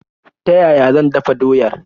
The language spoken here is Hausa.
Ta yaya zan dafa doyar?